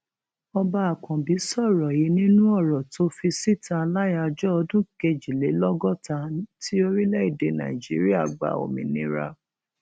ọba akànbí sọrọ yìí nínú ọrọ tó fi síta láyàájọ ọdún kejìlélọgọta ti orílẹèdè nàíjíríà gba òmìnira